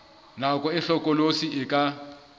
nako e hlokolosi e ka